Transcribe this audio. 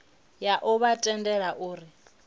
ya u vha tendela uri